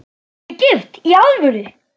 Eruð þið gift í alvöru?